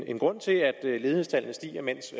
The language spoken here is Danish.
en grund til at ledighedstallene stiger mens